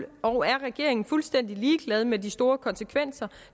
og er regeringen fuldstændig ligeglad med de store konsekvenser